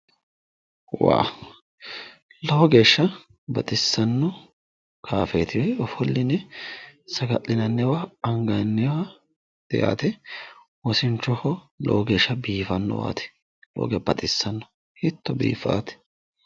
Wawo! Lowo geeshsha baxissanno kaaffeeti. Ofolline saga'linanniwa anganniwaati yaate. Wosinchoho lowo geeshsha biifannowaati. Lowo geeshsha baxissawote. Hiitto biiffawote!